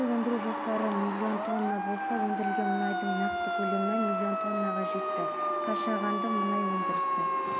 маусым күндері астанадағы электр желілерінде жоспарлы ажырату болады бұл жөндеу жұмыстарының жүргізілуіне байланысты деп хабарлайды астана қаласы әкімдігінің ахуал орталығы